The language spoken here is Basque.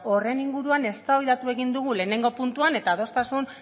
horren inguruan eztabaidatu egin dugu lehenengo puntuan eta adostasun